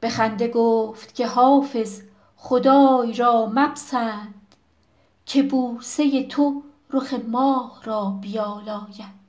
به خنده گفت که حافظ خدای را مپسند که بوسه تو رخ ماه را بیالاید